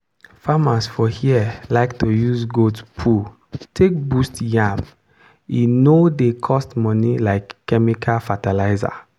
farmers for here like to use goat poo take boost yam e no dey cost money like chemical fertilizer.